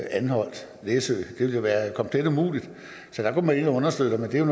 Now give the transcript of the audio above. anholt læsø det ville være komplet umuligt så der går man ind og understøtter men det er